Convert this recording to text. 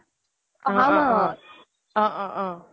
অহ অহ অহ